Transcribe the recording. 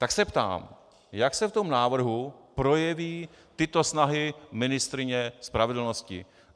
Tak se ptám - jak se v tom návrhu projeví tyto snahy ministryně spravedlnosti?